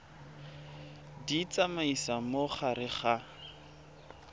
di tsamaisa mo gare ga